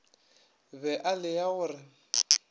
be e lea go re